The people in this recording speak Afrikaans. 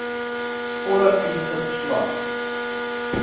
volle kliniese verslag